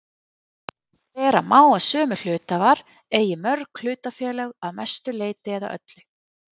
Vera má að sömu hluthafar eigi mörg hlutafélög að mestu leyti eða öllu.